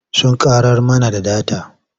Sun ƙarar mana da data.